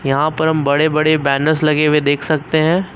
यहां पर हम बड़े बड़े बेनर्ज़ लगे हुए देख सकते हैं।